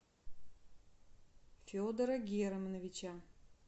федора германовича